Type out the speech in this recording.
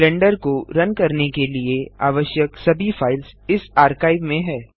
blender को run करने के लिए आवश्यक सभी फाइल्स इस आर्काइव में हैं